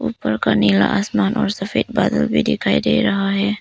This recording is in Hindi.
ऊपर का नीला आसमान और सफेद बादल भी दिखाई दे रहा है।